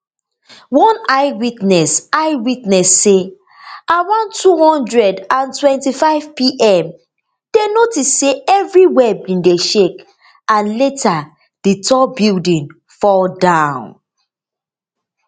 one eyewitness eyewitness say around two hundred and twenty-five pm dem notice say evriwia bin dey shake and later di tall building fall down